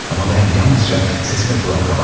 Amma mən yalnızca sesine qulaq qabartdım.